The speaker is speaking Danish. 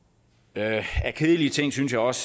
af kedelige ting synes jeg også